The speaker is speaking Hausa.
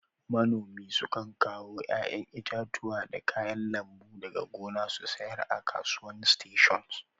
Manomi sukan kawo yayan itatuwa da kayan lambu daga gona su sayar a'kasuwan station.